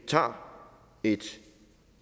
tager et